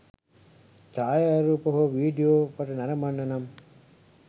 ඡායාරූප හෝ වීඩියෝ පට නරඹන්න නම්